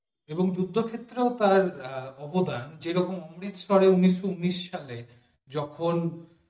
এবং যুদ্ধক্ষেত্রেও তার অবদান যে রকম অমৃত সরে উনিশশো উনিশ সালে যখন